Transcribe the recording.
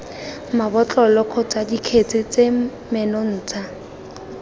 mabotlolo kgotsa dikgetse tse menontsha